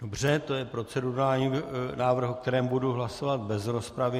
Dobře, to je procedurální návrh, o kterém dám hlasovat bez rozpravy.